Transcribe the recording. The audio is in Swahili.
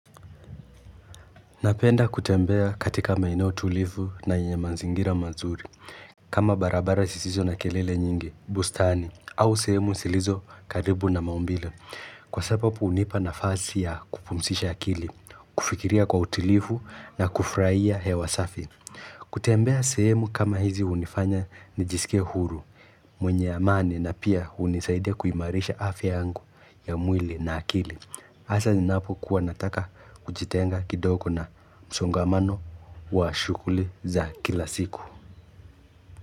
Napenda kutembea katika maene tulivu na yenye manzingira mazuri. Kama barabara sisizo na kelele nyingi, bustani, au sehemu silizo karibu na maumbilo. Kwa sababu unipa nafasi ya kupumsisha akili, kufikiria kwa utilifu na kufraia hewasafi. Kutembea sehemu kama hizi unifanya nijisikia huru, mwenye amani na pia unisaidia kuimarisha afya angu ya mwili na akili. Asa ninaapo kuwa nataka kujitenga kidogo na msongamano wa shughuuli za kila siku.